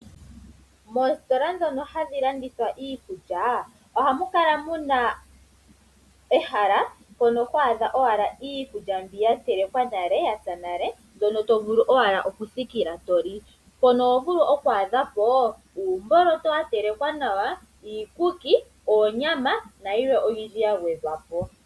Moositola dhono hadhi landitha iikulya, ohamukala muna ehala mpono ho adha owala iikulya mbiyatelekwa nale yapya nale mbyono tovulu owala okuthikila toli. Mpono ohovulu okwaadhapo uumboloto watelekwa nawa, iikuki, oonyama nayilwe oyindji yagwedhwa po.